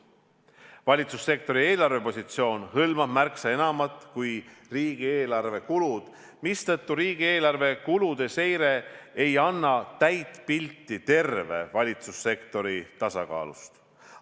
Valitsussektori eelarvepositsioon hõlmab märksa enamat kui riigieelarve kulud, mistõttu riigieelarve kulude seire ei anna täit pilti terve valitsussektori tasakaalust.